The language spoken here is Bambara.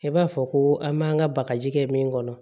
I b'a fɔ ko an b'an ka bagaji kɛ min kɔnɔ